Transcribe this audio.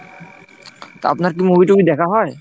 তা আপনার কি movie-টুভি দেখা হয়?